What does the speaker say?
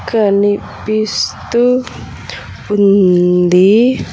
కనిపిస్తూ ఉంది.